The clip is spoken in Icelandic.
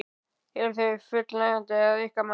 Eru þau fullnægjandi að ykkar mati?